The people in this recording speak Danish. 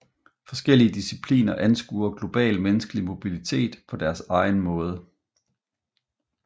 Forskellige discipliner anskuer global menneskelig mobilitet på deres egen måde